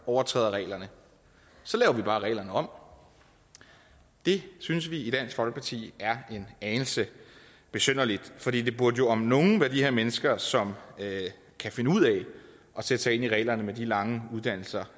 overtræder reglerne så laver vi bare reglerne om det synes vi i dansk folkeparti er en anelse besynderligt for det burde jo om nogen være de her mennesker som kan finde ud af sætte sig ind i reglerne med de lange uddannelser